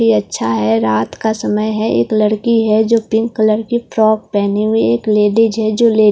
ये अच्छा है रात का समय है एक लड़की है जो पिंक कलर की फ्रॉक पहनी एक लेडी है जो --